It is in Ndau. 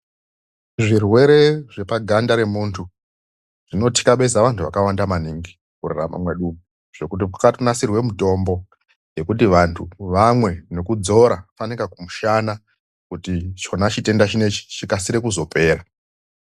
Zvirwere zvepaganda remuntu zvinotikabeza vantu vakawanda maningi mukurarama mwedu umu zvekuti kwakanasirwa mutombo yekuti vantu vamwe nekudzora fanika kumushana kuti chona chitenda chinechi chikasire kuzopera.